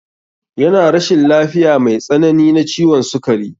Yana rashin lafiya mai tsanani na ciwon sukari.